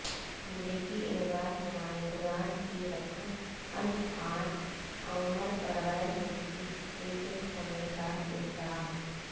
امریکی ایوان نما ئندگان کی رکن الہان عمر پرغیرملکی ایجنٹ ہونے کا الزام